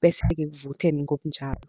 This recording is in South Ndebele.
bese-ke kuvuthe ngobunjalo.